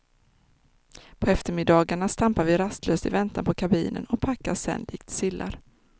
På eftermiddagarna stampar vi rastlöst i väntan på kabinen och packas sen likt sillar.